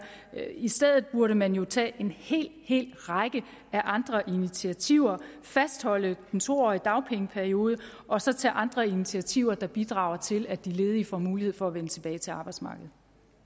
i stedet burde man jo tage en hel hel række af andre initiativer fastholde den to årige dagpengeperiode og så tage andre initiativer der bidrager til at de ledige får mulighed for at vende tilbage til arbejdsmarkedet